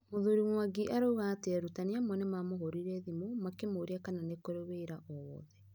Muthuri Mwangi arauga atĩ arutani amwe nĩ mamũhũrĩire thimũ makĩmũria kana nĩ kũrĩ wĩra wowothe.